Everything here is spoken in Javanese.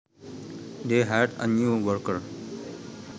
They hired a new worker